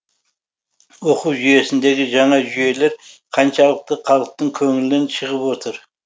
оқу жүйесіндегі жаңа жүйелер қаншалықты халықтың көңілінен шығып отыр